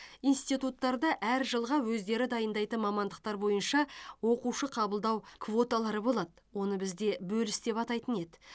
институттарда әр жылға өздері дайындайтын мамандықтар бойынша оқушы қабылдау квоталары болады оны бізде бөліс деп атайтын еді